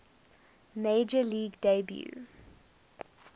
major league debut